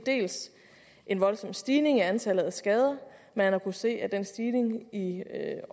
en voldsom stigning i antallet af skader man har kunnet se at den stigning i